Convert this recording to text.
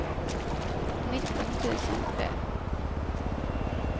nitton tusen tre